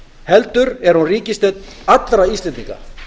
heldur er hún ríkisstjórn allra íslendinga